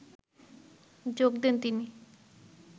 যোগ দেন তিনি